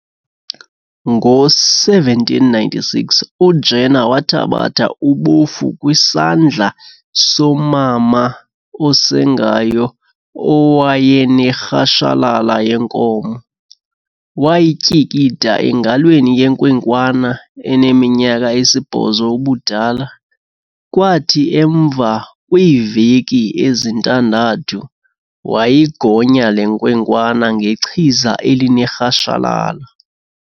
Ngo-1796, uJenner wathabatha ubofu kwisandla somama osengayo owayenerhashalala yenkomo, wayityikida engalweni yenkwenkwana eneminyaka esi-8 ubudala, kwathi emva kwiiveki ezintandathu wayigonya le nkwenkwana ngechiza elinerhashalala.